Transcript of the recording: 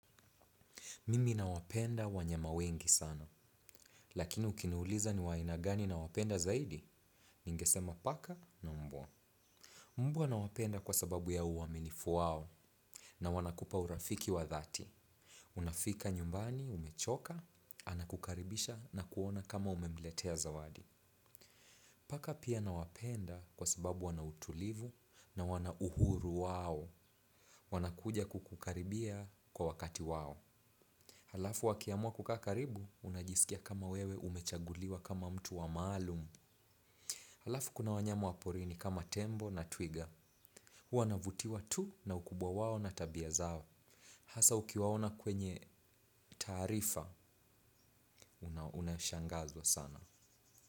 Mimi nawapenda wanyama wengi sana. Lakini ukiniuliza ni wainagani na wapenda zaidi? Ningesema paka na mbwa. Mbwa nawapenda kwa sababu ya uwaminifu wao na wanakupa urafiki wa dhati. Unafika nyumbani, umechoka, anakukaribisha na kuona kama umemletea zawadi. Paka pia nawapenda kwa sababu wana utulivu na wana uhuru wao. Wanakuja kukaribia kwa wakati wao. Halafu wakiamwa kukaa karibu, unajisikia kama wewe umechaguliwa kama mtu wa maalumu. Halafu kuna wanyama waporini kama tembo na twiga. Huwa navutiwa tu na ukubwa wao na tabia zao. Hasa ukiwaona kwenye taarifa, unashangazwa sana.